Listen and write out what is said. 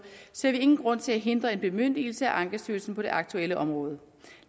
ser vi ingen grund til at hindre en bemyndigelse af ankestyrelsen på det aktuelle område